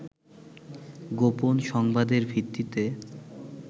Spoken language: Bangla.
গোপন সংবাদের ভিত্তিতে